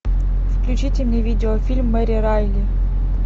включите мне видеофильм мэри райли